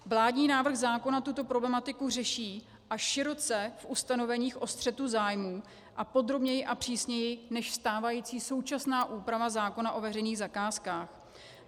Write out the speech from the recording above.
Vládní návrh zákona tuto problematiku řeší, a široce, v ustanoveních o střetu zájmů, a podrobněji a přísněji než stávající současná úprava zákona o veřejných zakázkách.